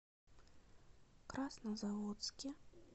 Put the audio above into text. краснозаводске